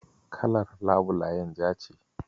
Kalar labulayen ja ce.